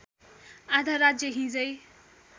आधा राज्य हिजै